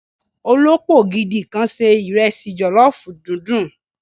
Olópò gidi kan sé ìrẹsì jòlọ́fù dundun.